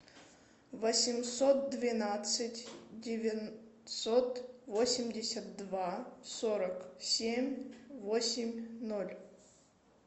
восемьсот двенадцать девятьсот восемьдесят два сорок семь восемь ноль